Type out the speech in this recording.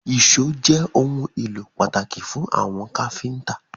Èṣó jé òun ìlò pàtàkì fún àwọn káfínńtà!